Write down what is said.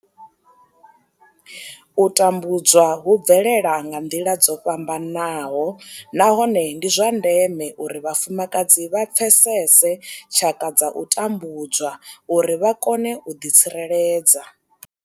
U tambudzwa hu bvelela nga nḓila dzo fhambanaho nahone ndi zwa ndeme uri vhafumakadzi vha pfesese tshaka dza u tambudzwa uri vha kone u ḓitsireledza.